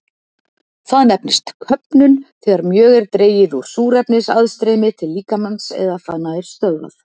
Það nefnist köfnun þegar mjög er dregið úr súrefnisaðstreymi til líkamans eða það nær stöðvað.